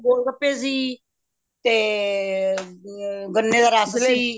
ਗੋਲ ਗੱਪੇ ਸੀ ਤੇ ਅ ਗਣੇ ਦਾ ਰੱਸ ਸੀ